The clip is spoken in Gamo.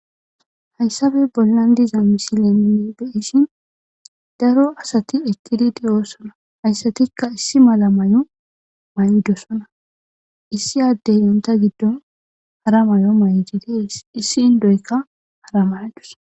hayssafe bollan diza misilenne beyishin daro asati eqidi de'o sola hayssatikka issi mala may'o may'dosona issi addey onta giddon hara may7o may7jide issi ndoykka hara mayadus